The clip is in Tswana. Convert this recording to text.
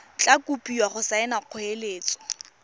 tla kopiwa go saena kgoeletso